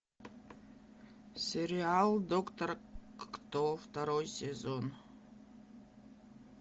сериал доктор кто второй сезон